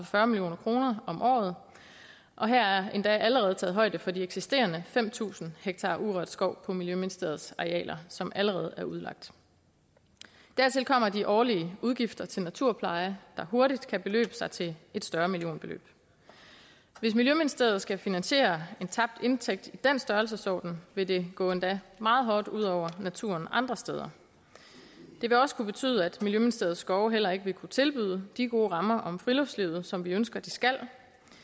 fyrre million kroner om året og her er der endda allerede taget højde for de eksisterende fem tusind ha urørt skov på miljøministeriets arealer som allerede er udlagt dertil kommer de årlige udgifter til naturpleje der hurtigt kan beløbe sig til et større millionbeløb hvis miljøministeriet skal finansiere en tabt indtægt i den størrelsesorden vil det gå endda meget hårdt ud over naturen andre steder det vil også kunne betyde at miljøministeriets skove heller ikke ville kunne tilbyde de gode rammer om friluftslivet som vi ønsker at de skal